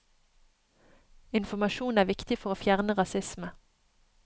Informasjon er viktig for å fjerne rasisme.